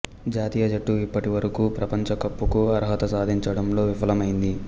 జాతీయ జట్టు ఇప్పటి వరకు ప్రపంచ కప్పుకు అర్హత సాధించడంలో విఫలమైంది